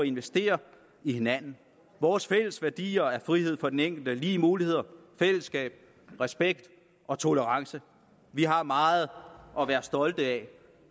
investere i hinanden vores fælles værdier er frihed for den enkelte lige muligheder fællesskab respekt og tolerance vi har meget at være stolte af